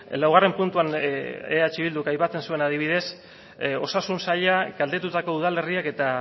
laugarren puntuan eh bilduk aipatzen zuen adibidez osasun saila galdetutako udalerriek eta